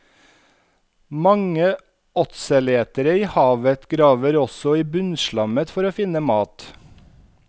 Mange åtseletere i havet graver også i bunnslammet for å finne mat.